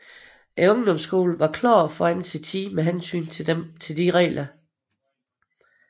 Ungdomsskolen var klart foran sin tid med hensyn til disse regler